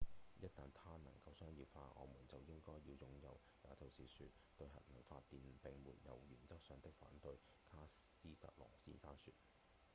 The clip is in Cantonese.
「一旦它能夠商業化我們就應該要擁有也就是說對核能發電並沒有原則上的反對」卡斯特洛先生說